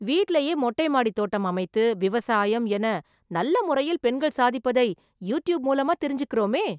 வீட்லயே மொட்டை மாடி தோட்டம் அமைத்து, விவசாயம்... என நல்ல முறையில் பெண்கள் சாதிப்பதை, யூட்யூப் மூலமா தெரிஞ்சிக்கறோமே.